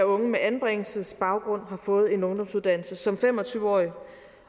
unge med anbringelsesbaggrund har fået en ungdomsuddannelse som fem og tyve årig